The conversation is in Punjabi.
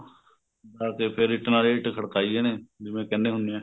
ਹਾਂ ਤੇ ਫੇਰ ਇੱਟ ਨਾਲ ਇੱਟ ਖੜਕਾਈ ਇਹਨੇ ਜਿਵੇਂ ਕਹਿਨੇ ਹੁਨੇ ਏ